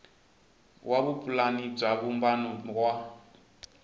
wa vupulani bya vumbano wa